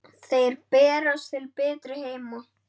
Þeir berast til betri heima.